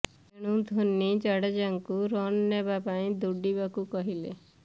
ତେଣୁ ଧୋନି ଜାଡେଜାଙ୍କୁ ରନ୍ ନେବା ପାଇଁ ଦୌଡିବାକୁ କହିଲେ